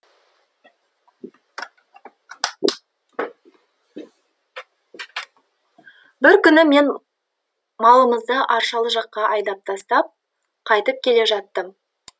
бір күні мен малымызды аршалы жаққа айдап тастап қайтып келе жаттым